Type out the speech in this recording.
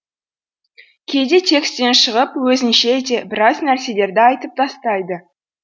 кейде текстен шығып өзінше де біраз нәрселерді айтып тастайды